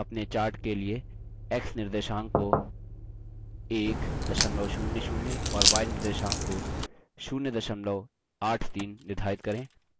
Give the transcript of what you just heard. अपने chart के लिए x निर्देशांक को 100 और y निर्देशांक को 083 निर्धारित करें